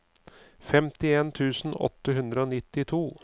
femtien tusen åtte hundre og nittito